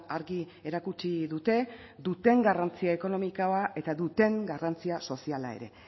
argi erakutsi dute duten garrantzia ekonomikoa eta duten garrantzia soziala ere